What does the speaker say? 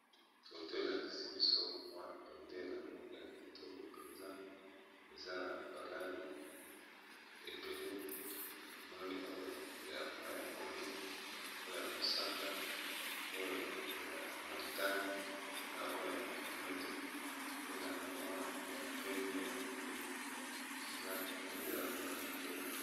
Foto elakisi biso mwa bendele moko ya kitoko mpenza eza na ba langi ebele namoni oyo ya mai ya pondu oyo ya mosaka oyo ya montane na oyo ya mwindo pe na kamwa pembe ya moke eza pendela moka ya kitoko.